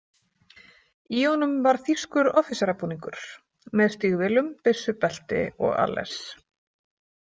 Í honum var þýskur offíserabúningur, með stígvélum, byssubelti og alles.